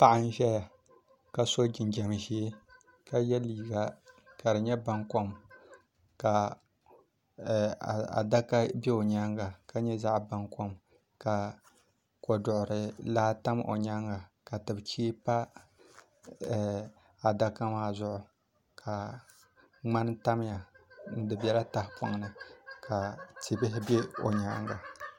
Paɣa n ʒɛya ka so jinjɛm ʒiɛ ka yɛ liiga ka di nyɛ baŋkom ka adaka bɛ o nyaaga ka nyɛ zaɣ baŋkom ka koduɣuri laa tam o nyaanga ka tibi chee pa adaka maa zuɣu ka ŋmani tamya di biɛla tahapoŋni ka tia bihi bɛ o nyaanga